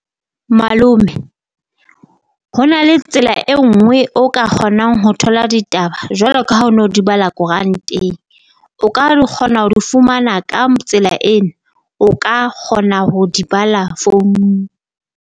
Malome ho na le tsela e nngwe o ka kgonang ho thola ditaba jwalo ka ha o no di bala koranteng, o ka di kgona ho di fumana ka tsela ena o ka kgona ho di bala founung.